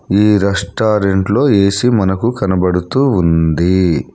ఈ రెస్టారెంట్లో ఏ_సి మనకు కనబడుతూ ఉంది.